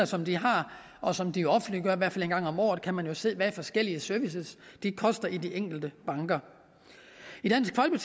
som de har og som de offentliggør i hvert fald en gang om året og man jo se hvad forskellige typer af service koster i de enkelte banker